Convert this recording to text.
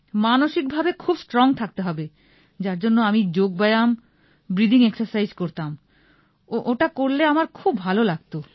মানসিক ভাবে খুব স্ট্রং থাকতে হবে যার জন্য আমি যোগ ব্যায়াম ব্রিদিং এক্সারসাইজ করতাম ওটা করলে আমার খুব ভাল লাগতো